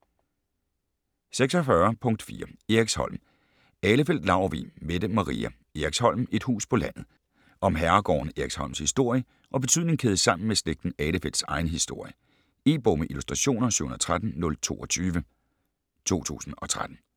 46.4 Eriksholm Ahlefeldt-Laurvig, Mette Maria: Eriksholm: et hus på landet Om herregården Eriksholms historie og betydning kædet sammen med slægten Ahlefeldts egen historie. E-bog med illustrationer 713022 2013.